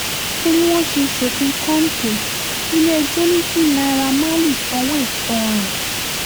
torí wọ́n ṣe ṣòfin kọ́ńtò ilé-ẹjọ́ ní kí naira marley sanwó ìtanràn